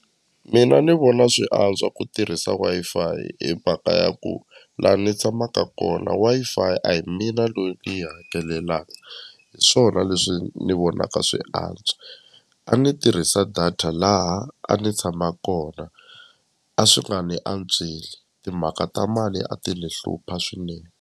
Mina ni vona swi antswa ku tirhisa Wi-Fi hi mhaka ya ku la ni tshamaka kona Wi-Fi a hi mina loyi ni yi hakelelaka hi swona leswi ni vonaka swi antswa a ni tirhisa data laha a ni tshama kona a swi nga ni antsweli timhaka ta mali a ti ni hlupha swinene